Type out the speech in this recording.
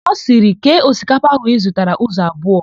Ọ sịrị, "kee osikapa áhụ̀ ị zụtara ụzọ abụọ"!